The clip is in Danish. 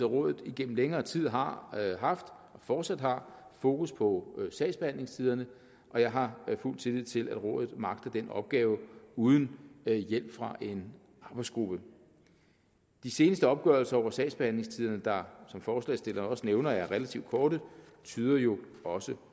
rådet igennem længere tid har haft og fortsat har fokus på sagsbehandlingstiderne og jeg har fuld tillid til at rådet magter den opgave uden hjælp fra en arbejdsgruppe de seneste opgørelser over sagsbehandlingstiderne der som forslagsstillerne også nævner er relativt korte tyder jo også